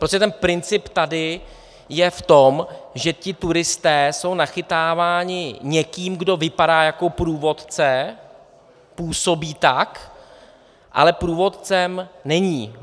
Prostě ten princip tady je v tom, že ti turisté jsou nachytáváni někým, kdo vypadá jako průvodce, působí tak, ale průvodcem není.